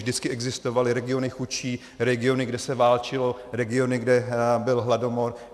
Vždycky existovaly regiony chudší, regiony, kde se válčilo, regiony, kde byl hladomor.